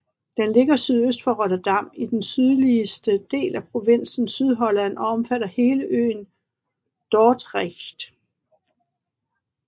Den ligger sydøst for Rotterdam i den sydligste del af provinsen Sydholland og omfatter hele øen Dordrecht